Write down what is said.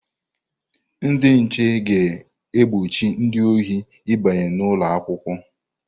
Ndị nche ga-egbochi ndị ohi ịbanye n'ụlọ akwụkwọ.